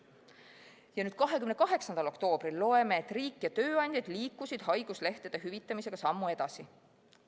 Ja 28. oktoobril loeme, et riik ja tööandjad liikusid haiguslehtede hüvitamisega sammu edasi.